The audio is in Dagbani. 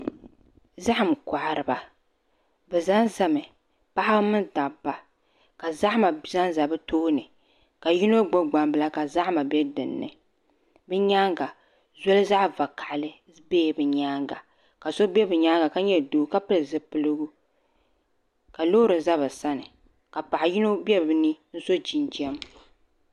Zaham kohariba bi ʒɛnʒɛmi paɣaba mini dabba ka zahama ʒɛnʒɛ bi tooni ka yino gbubi gbambila ka zahama bɛ dinni bi nyaanga zolizaɣ vakaɣali biɛla bi nyaanga ka so bɛ bi nyaanga ka nyɛ doo ka pili zipiligu ka loori ʒɛ bi sani ka paɣa yino bɛ bi ni so jinjɛm